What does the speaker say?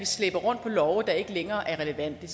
slæber rundt på love der ikke længere er relevante